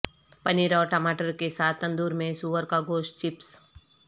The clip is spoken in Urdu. پنیر اور ٹماٹر کے ساتھ تندور میں سور کا گوشت چپس